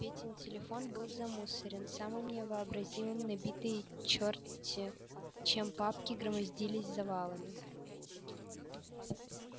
петин телефон был замусорен самым невообразимым набитые чёрт-те чем папки громоздились завалами